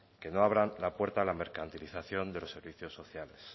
que no abran la puerta a la mercantilización de los servicios sociales